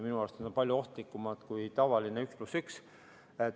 Minu arust on need palju ohtlikumad kui tavaline 1 + 1 tee.